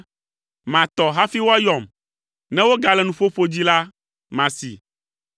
Matɔ hafi woayɔm. Ne wogale nuƒoƒo dzi la, masee.